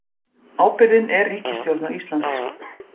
Ábyrgðin er ríkisstjórnar Íslands